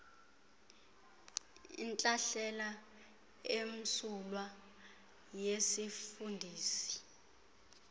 intlahlela emsulwa yesifundisi